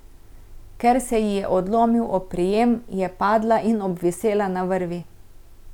Ker se ji je odlomil oprijem, je padla in obvisela na vrvi.